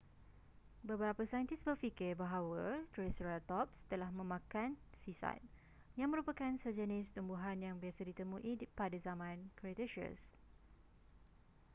beberapa saintis berfikir bahawa triceratops telah memakan cycad yang merupakan sejenis tumbuhan yang biasa ditemui pada zaman cretaceous